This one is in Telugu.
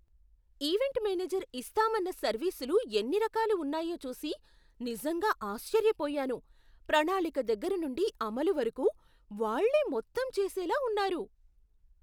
ఈవెంట్ మేనేజర్ ఇస్తాం అన్న సర్వీసులు ఎన్ని రకాలు ఉన్నాయో చూసి నిజంగా ఆశ్చర్యపోయాను. ప్రణాళిక దగ్గర నుండి అమలు వరకు, వాళ్ళే మొత్తం చేసేలా ఉన్నారు!